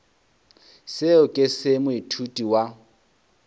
seo ke se moithuti wa